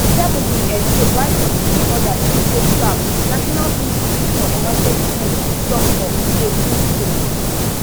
seven bin escape while forty-three odas still dey trapped di national institute for emergency medicine tok for facebook post